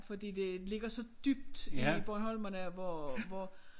Fordi det ligger så dybt i bornholmerne hvor hvor